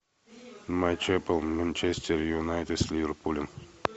матч апл манчестер юнайтед с ливерпулем